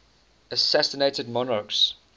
assassinated monarchs